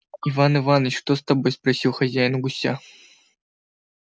иван иваныч что с тобой спросил хозяин у гуся